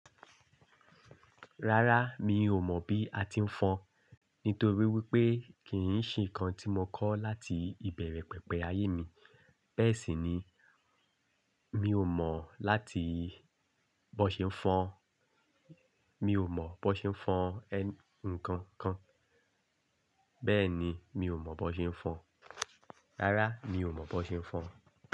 Rárá, mi ò mọ̀ bí a ti ń fọn nítorí wípé kì í ṣe ǹkan tí mo kọ́ láti ìbẹ̀rẹ̀ pẹ̀pẹ̀ ayé mi. Bẹ́ẹ̀ sì ni, mi ò mọ̀ láti bó ṣe ń fọn, mi ò mọ̀ bó ṣe ń fọn ǹkan kan. Bẹ́ẹ̀ ni, mi ò mọ̀ bó ṣe ń fọn. Rárá, mi ò mọ̀ bó ṣe ń fọn.